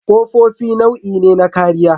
Ƙofofi nau'i ne na kariya.